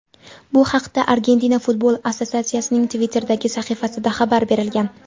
Bu haqda Argentina futbol assotsiatsiyasining Twitter’dagi sahifasida xabar berilgan.